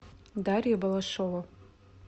дарья балашова